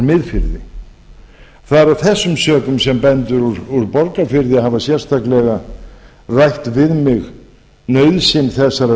það er af þessum sökum sem bændur úr borgarfirði hafa sérstaklega rætt við mig nauðsyn þessarar